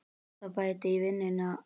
Það bætti í vindinn og